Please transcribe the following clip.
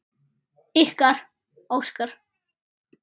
Ykkar, Óskar.